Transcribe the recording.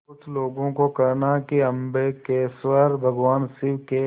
कुछ लोगों को कहना है कि अम्बकेश्वर भगवान शिव के